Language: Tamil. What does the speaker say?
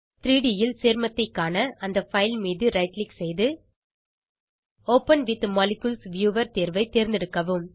3ட் ல் சேர்மத்தைக் காண அந்த பைல் மீது ரைட் க்ளிக் செய்து ஒப்பன் வித் மாலிக்யூல்ஸ் வியூவர் தேர்வை தேர்ந்தெடுக்கவும்